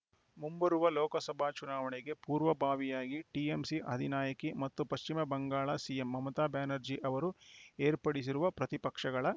ಮುಂಬರುವ ಲೋಕಸಭಾ ಚುನಾವಣೆಗೆ ಪೂರ್ವಭಾವಿಯಾಗಿ ಟಿಎಂಸಿ ಅಧಿನಾಯಕಿ ಮತ್ತು ಪಶ್ಚಿಮ ಬಂಗಾಳ ಸಿಎಂ ಮಮತಾ ಬ್ಯಾನರ್ಜಿ ಅವರು ಏರ್ಪಡಿಸಿರುವ ಪ್ರತಿಪಕ್ಷಗಳ